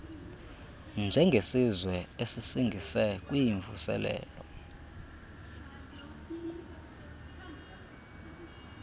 njengesizwe esisingise kwimvuselelo